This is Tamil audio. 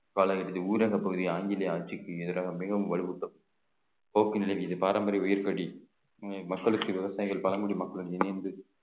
பாளையர்களின் ஊரகப் பகுதி ஆங்கிலேய ஆட்சிக்கு எதிராக மிகவும் வலுவூட்டும் போக்கு நிலை மீது பாரம்பரிய உயிர் பலி மக்களுக்கு விவசாயிகள் பழங்குடி மக்களுடன் இணைந்து